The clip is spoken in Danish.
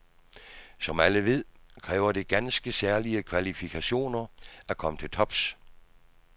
Som alle ved, kræver det ganske særlige kvalifikationer at komme til tops.